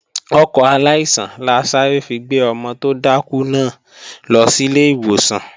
Ọkọ̀ aláìsàn la sáré fi gbé ọmọ tó dákú náà lọ sílé ìwòsàn